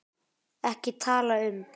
EKKI TALA UM